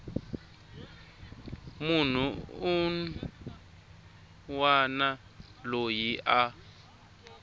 munhu un wana loyi a